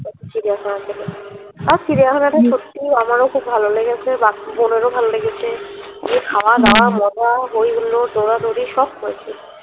চিড়িয়াখানা থেকে আর চিড়িয়াখানাটি সত্যি আমারো খুব ভালো লেগেছে বাকি বোনের ও ভালো লেগেছে যে খাওয়াদাওয়া মজা হৈহুল্লোড় দৌড়াদৌড়ি সব করেছে